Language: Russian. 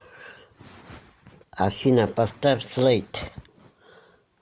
афина поставь слэйд